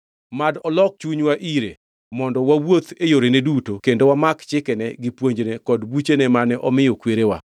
Mad olok chunywa ire, mondo wawuoth e yorene duto kendo wamak chikene gi puonjne kod buchene mane omiyo kwerewa.